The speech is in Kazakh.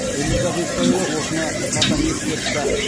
өмірзақ естайұлы осыны қатаң ескертті